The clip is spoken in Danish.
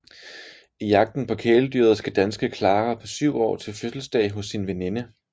I Jagten på kæledyret skal danske Clara på 7 år til fødselsdag hos sin veninde